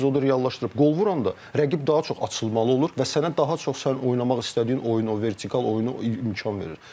Çünki sən epizodu reallaşdırıb qol vuranda rəqib daha çox açılmalı olur və sənə daha çox sən oynamaq istədiyin oyunu, o vertikal oyunu imkan verir.